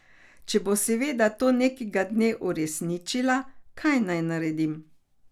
Če bo seveda to nekega dne uresničila, kaj naj naredim?